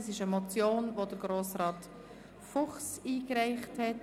Das ist eine Motion, die Grossrat Fuchs einge- reicht hat.